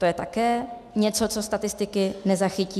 To je také něco, co statistiky nezachytí.